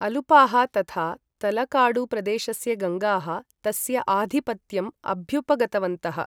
अलुपाः तथा तलाकाडुप्रदेशस्य गङ्गाः, तस्य आधिपत्यम् अभ्युपगतवन्तः।